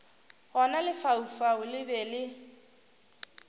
gona lefaufau le be le